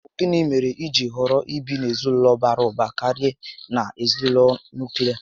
Ọbu gịnị mèrè ijiri họrọ ibi n'ezinaulo bara ụba karịa na ezinaụlọ nuklia?